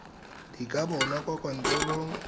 di ka bonwa kwa kantorong